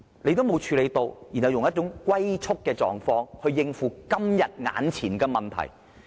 政府不做任何工夫，然後用"龜速"的反應來應付今天眼前的問題。